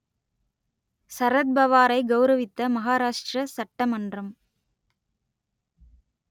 சரத்பவாரை கௌரவித்த மகாராஷ்டிர சட்ட மன்றம்